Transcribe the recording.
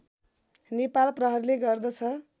नेपाल प्रहरीले गर्दछ